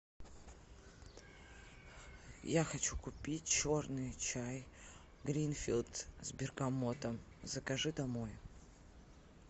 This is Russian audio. я хочу купить черный чай гринфилд с бергамотом закажи домой